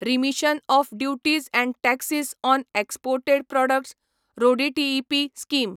remission of duties and taxes on exported products RoDTEP scheme